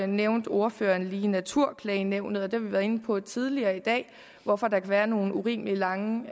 nævnte ordføreren lige naturklagenævnet det har vi været inde på tidligere i dag og hvorfor der kan være nogle urimeligt lange